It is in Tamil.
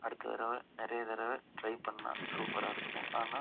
அடுத்த தடவ நிறைய தடவ ட்ரை பண்ணா சூப்பரா இருக்கும் ஆனா